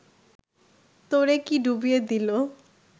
তোরে কি ডুবিয়ে দিলো